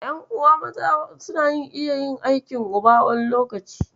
Ƴan'uwa maza suna iya yin aikin uba, wani lokacin.